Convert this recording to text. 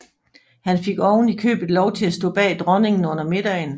Han fik oven i købet lov til at stå bag dronningen under middagen